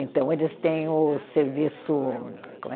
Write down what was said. Então, eles têm o serviço. Como é